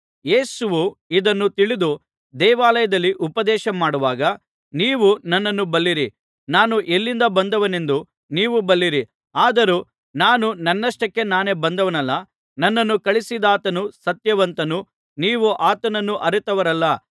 ಯೇಸುವು ಇದನ್ನು ತಿಳಿದು ದೇವಾಲಯದಲ್ಲಿ ಉಪದೇಶ ಮಾಡುವಾಗ ನೀವು ನನ್ನನ್ನು ಬಲ್ಲಿರಿ ನಾನು ಎಲ್ಲಿಂದ ಬಂದವನೆಂದೂ ನೀವು ಬಲ್ಲಿರಿ ಆದರೂ ನಾನು ನನ್ನಷ್ಟಕ್ಕೆ ನಾನೇ ಬಂದವನಲ್ಲ ನನ್ನನ್ನು ಕಳುಹಿಸಿದಾತನು ಸತ್ಯವಂತನು ನೀವು ಆತನನ್ನು ಅರಿತವರಲ್ಲ